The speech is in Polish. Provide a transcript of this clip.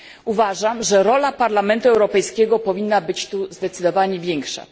Uważam, że rola Parlamentu Europejskiego powinna być tu zdecydowanie większa.